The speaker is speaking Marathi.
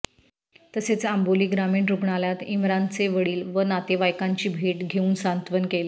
तसेच आंबोली ग्रामीण रुग्णालयात इम्रानचे वडील व नातेवाईकांची भेट घेऊन सांत्वन केले